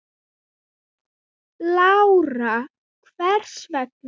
Lára: Hvers vegna?